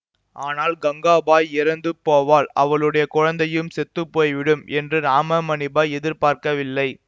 ஆனால் கங்காபாய் இறந்து போவாள் அவளுடைய குழந்தையும் செத்து போய்விடும் என்று ராமமணிபாய் எதிர்பார்க்கவில்லை